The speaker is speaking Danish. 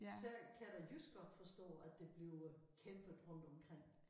Så kan jeg da just godt forstå at der bliver kæmpet rundtomkring